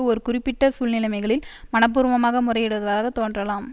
ஒரு குறிப்பிட்ட சூழ்நிலைமைகளில் மனப்பூர்வமாக முறையிடுவதாக தோன்றலாம்